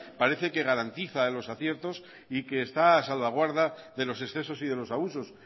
parece que garantiza los aciertos y que está a salvaguarda de los excesos y de los abusos